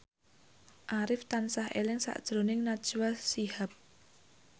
Arif tansah eling sakjroning Najwa Shihab